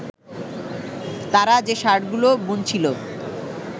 তারা যে শার্টগুলো বুনছিল